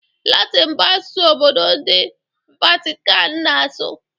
Latịn bụ asụsụ obodo ndị Vatican na-asụ